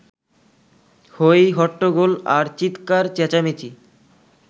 হই-হট্টগোল আর চিৎকার-চেঁচামেচি